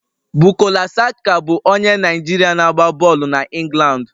Bukola Saka bụ onye Naijiria na-agba bọọlụ na England